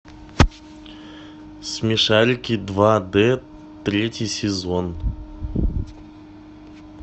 смешарики два д третий сезон